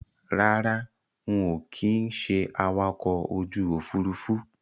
Rárá, ń ó kin ṣé awakọ̀ ojú Òfurufú